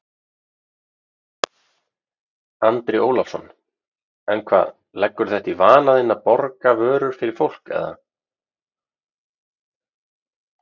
Andri Ólafsson: En hvað, leggurðu þetta í vana þinn að borga vörur fyrir fólk eða?